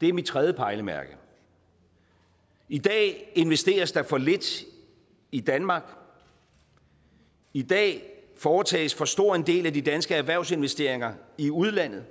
det er mit tredje pejlemærke i dag investeres der for lidt i danmark i dag foretages for stor en del af de danske erhvervsinvesteringer i udlandet